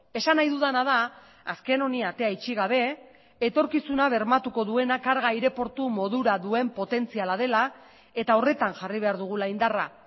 esan nahi dudana da azken honi atea itxi gabe etorkizuna bermatuko duena karga aireportu modura duen potentziala dela eta horretan jarri behar dugula indarra